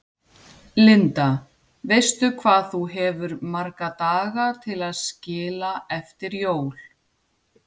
Linda: Veistu hvað þú hefur marga daga til að skila eftir jól?